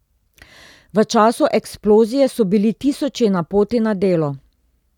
V času eksplozije so bili tisoči na poti na delo.